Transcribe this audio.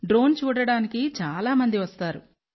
drone చూడటానికి చాలా మంది వస్తారు